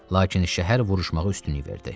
Lakin şəhər vuruşmağa üstünlük verdi.